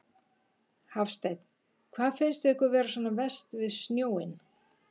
Hafsteinn: Hvað finnst ykkur vera svona verst við snjóinn?